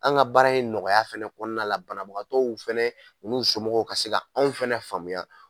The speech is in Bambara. An ka baara in nɔgɔya fɛnɛ kɔnɔna la banabagatɔw fɛnɛ u n'u somɔgɔw ka se ka anw fɛnɛ faamuya